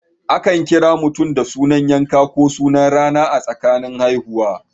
Akan kira mutum da sunan yanka ko sunan rana a tsakanin Hausawa.